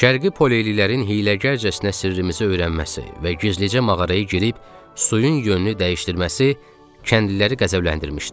Şərqi Poleylilərin hiyləgərcəsinə sirrimizi öyrənməsi və gizlicə mağaraya girib suyun yönünü dəyişdirməsi kəndliləri qəzəbləndirmişdi.